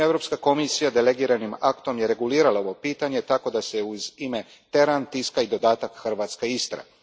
svibnja Europska komisija delegiranim aktom regulirala je ovo pitanje tako da se uz ime teran tiska i dodatak hrvatska Istra.